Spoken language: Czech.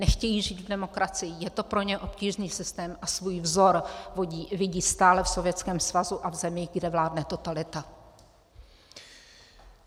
Nechtějí žít v demokracii, je to pro ně obtížný systém a svůj vzor vidí stále v Sovětském svazu a v zemi, kde vládne totalita.